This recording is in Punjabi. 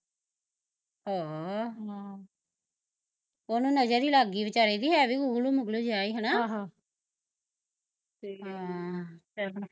ਹਾਅ ਹਮ ਓਹਨੂੰ ਨਜ਼ਰ ਈ ਲੱਗਗੀ ਵਿਚਾਰੇ ਦੀ ਹੈ ਵੀ ਗੁਗਲੂ ਮੁਗਲੂ ਜਿਹਾ ਸੀ ਹੈਨਾ ਆਹ ਹਾਂ ਚੱਲ